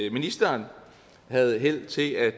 at ministeren havde held til at